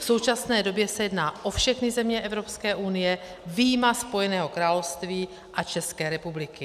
V současné době se jedná o všechny země Evropské unie, vyjma Spojeného království a České republiky.